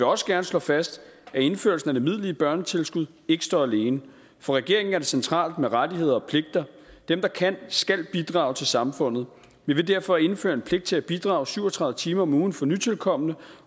også gerne slå fast at indførelsen af det midlertidige børnetilskud ikke står alene for regeringen er det centralt med rettigheder og pligter dem der kan skal bidrage til samfundet vi vil derfor indføre en pligt til at bidrage syv og tredive timer om ugen for nytilkomne